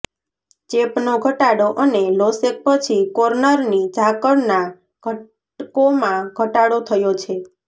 ચેપનો ઘટાડો અને લોસેક પછી કોર્નની ઝાકળના ઘટકોમાં ઘટાડો થયો છે